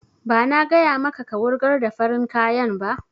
Ba na gaya maka ka wurgar da farin kayan ba!